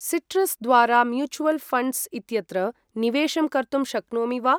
Citrus द्वारा mutual funds इत्यत्र निवेशं कर्तुं शक्नोमि वा?